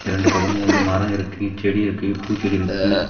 இரண்டு பக்கமு வந்து மரோ இருக்கு செடி இருக்கு பூச்செடி இருக்கு.